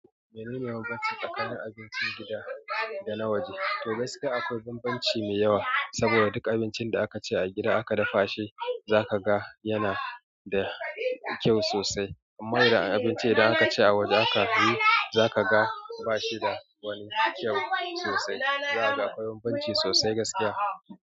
Menene bambanci tsakanin abincin gida da na waje? To gaskiya akwai bambanci mai yawa, saboda duk abincin da aka ci a gida aka dafa shi zaka ga yana da kyau sosai. Amma idan abinci idan akace a waje akayi zaka ga bashi da wani kyau sosai. Zaka ga akwai bambanci sosai gaskiya.